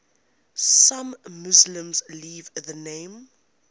some muslims leave the name